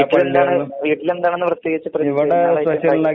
വീട്ടിൽ ഏതാണ് വീട്ടിൽ ഏതാണ് ഇന്ന് പ്രത്യേകിച്ച് പരിപാടി